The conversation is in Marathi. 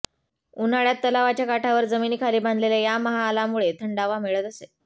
उन्हाळ्यात तलावाच्या काठावर जमिनी खाली बांधलेल्या या महालामुळे थंडावा मिळत असे